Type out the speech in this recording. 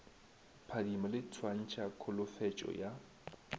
phadimo le swantšha kholofetšo ya